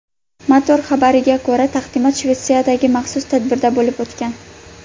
Motor xabariga ko‘ra , taqdimot Shvetsiyadagi maxsus tadbirda bo‘lib o‘tgan.